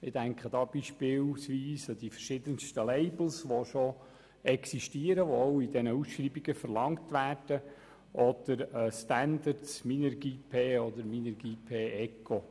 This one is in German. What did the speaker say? Ich denke dabei beispielsweise an die verschiedensten, bereits existierenden Labels, die in den Ausschreibungen verlangt werden, oder an Standards wie Minergie-P und Minergie-P-Eco.